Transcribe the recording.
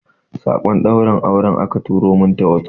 sakon daurin aure aka turo min ta wasof